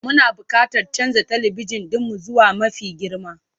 Muna buƙatar canza talabijin ɗinmu zuwa mafi girma.